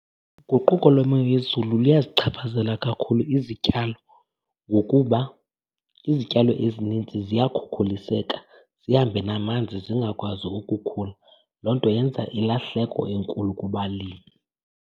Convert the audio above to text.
Uguquko lwemo yezulu luyazichaphazela kakhulu izityalo ngokuba izityalo ezinintsi ziyakhukuliseka zihambe namanzi zingakwazi ukukhula. Loo nto yenza ilahleko enkulu kubalimi.